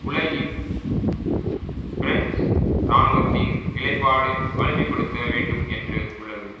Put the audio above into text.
உலகில் பிரெஞ்சு இராணுவத்தின் நிலைப்பாடு வலிமை படுத்த வேண்டும் என்று உள்ளது